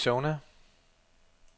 Arizona